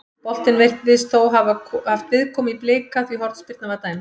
Boltinn virðist þó hafa haft viðkomu í Blika því hornspyrna var dæmd.